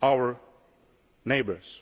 our neighbours.